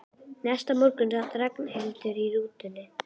Næsta morgun sat Ragnhildur í rútunni.